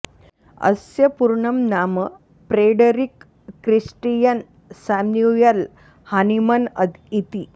अस्य पूर्णं नाम प्रेडरिक् क्रिस्टियन् साम्युयेल् हानिमन् इति